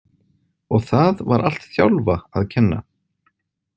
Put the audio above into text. Og það var allt Þjálfa að kenna.